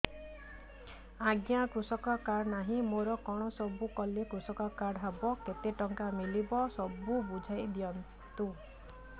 ଆଜ୍ଞା କୃଷକ କାର୍ଡ ନାହିଁ ମୋର କଣ ସବୁ କଲେ କୃଷକ କାର୍ଡ ହବ କେତେ ଟଙ୍କା ମିଳିବ ସବୁ ବୁଝାଇଦିଅନ୍ତୁ